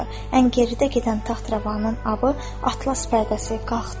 Ən geridə gedən taxravanın abı atlas pərdəsi qalxdı.